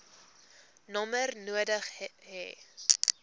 nommer nodig hê